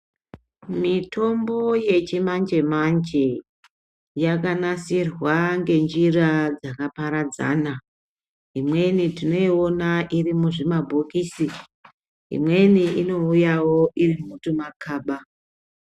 Mitombo yechimanje-manje yakanasirwa ngenjira dzakaparadzana. Imweni tinoiona iri muzvimabhokisi, imweni inouyawo iri mutumakaba.